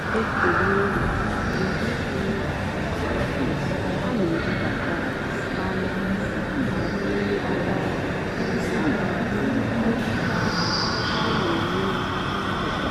ọ́ nà-ékélè màkà ụ́dị́ nrì dì íché íché á nà-èbúbátá màná ọ́ nà-àjụ́ mmétụ́tá ọ́ nà-àjụ́ mmétụ́tá ọ́ nà-ènwé n'àhịá óbòdò.